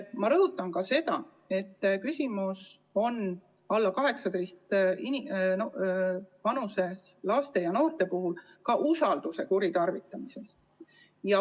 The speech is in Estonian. Ma rõhutan sedagi, et küsimus on alla 18-aastaste laste ja noorte puhul ka usalduse kuritarvitamises.